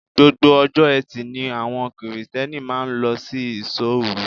Gbogbo ọjọ́ eti ni àwọn Kirìtẹ́nì máa ń lọ sí ìṣó-òru.